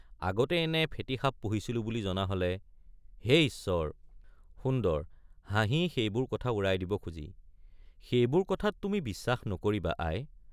আগতে এনে ফেটী সাপ পুহিছিলো বুলি জনা হলে—হে ঈশ্বৰ সুন্দৰ— হাঁহি সেইবোৰ কথা উৰাই দিব খুজি সেইবোৰ কথাত তুমি বিশ্বাস নকৰিবা আই।